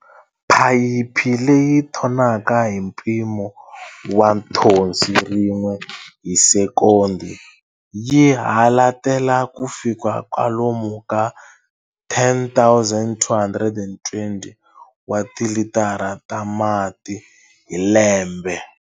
Phayiphi leyi thonaka hi mpimo wa nthonsi rin'we hi sekondi yi halatela kufika kwalomu ka 10 220 wa tilitara ta mati hi lembe.